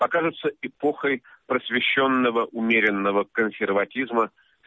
окажется эпохой просвещённого умеренного консерватизма